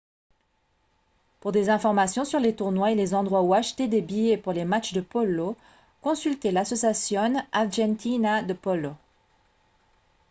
pour des informations sur les tournois et les endroits où acheter des billets pour les matchs de polo consultez l'asociacion argentina de polo